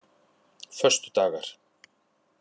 föstudagar